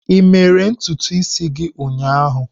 Ị mere ntutu isi gị ụnyaahụ?